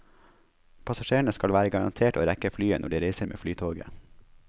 Passasjerene skal være garantert å rekke flyet når de reiser med flytoget.